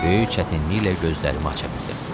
Böyük çətinliklə gözlərimi aça bildim.